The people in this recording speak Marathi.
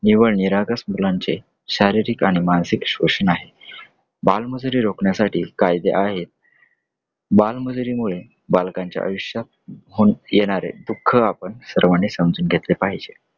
निव्वळ निरागस मुलांचे शारीरिक आणि मानसिक शोषण आहे. बालमजुरी रोखण्यासाठी कायदे आहेत. बालमजुरीमुळे बालकांच्या आयुष्यात हो हम्म येणारे दुःख आपण सर्वानी समजून घेतले पाहिजे.